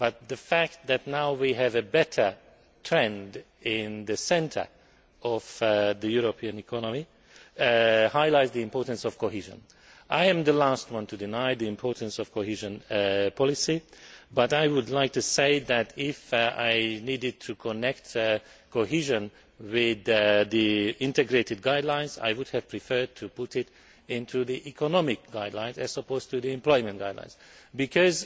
The fact that now we have a better trend at the centre of the European economy highlights the importance of cohesion. I would be the last one to deny the importance of cohesion policy, but would like to say that, if I needed to connect cohesion with the integrated guidelines, then I would have preferred to put it into the economic guidelines as opposed to the employment guidelines, because